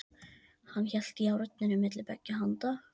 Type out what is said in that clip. Hann hélt járninu milli beggja handa.